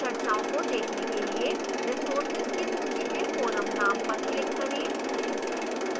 चर्चाओं को देखने के लिए resources की सूची में forum name पर click करें